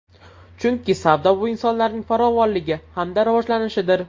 Chunki savdo bu insonlarning farovonligi hamda rivojlanishidir.